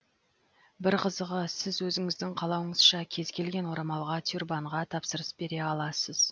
бір қызығы сіз өзіңіздің қалауыңызша кез келген орамалға тюрбанға тапсырыс бере аласыз